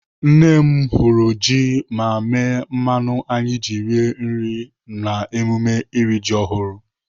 Nne m hụrụ ji ma mee mmanụ anyị ji rie nri na mmemme iri ji ọhụrụ..